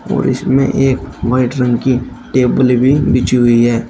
और इसमें एक वाइट रंग की टेबल भी बीछी हुई है।